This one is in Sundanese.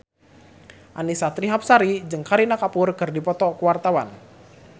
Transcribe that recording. Annisa Trihapsari jeung Kareena Kapoor keur dipoto ku wartawan